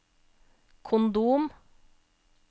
kondom